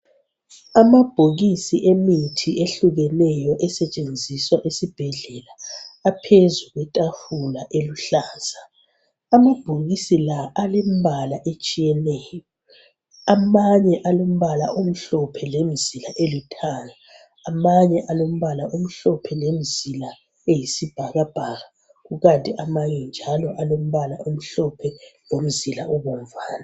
Amabhokisi emithi ehlekuneyo esetshenziswa esibhedlela aphezu kwetafula eluhlaza amabhokisi la alembala etshiyeneyo amanye alombala omhlophe lemzila elithanga amanye alombala omhlophe lemzila eyisibhakabhaka kukanti amanye njalo alombala omhlophe lomzila obomvana